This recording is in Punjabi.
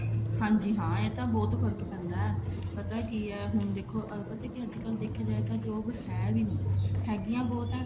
ਹਾਂਜੀ ਹਾਂ ਇਹ ਤਾਂ ਬਹੁਤ ਫਰਕ ਪੈਂਦਾ ਪਤਾ ਕੀ ਹੁਣ ਦੇਖੋ ਪਤਾ ਕੀ ਆ ਅੱਜਕਲ ਦੇਖਿਆ ਜਾਏ job ਹੈ ਵੀ ਨੀ ਹੈਗੀਆਂ ਬਹੁਤ ਆ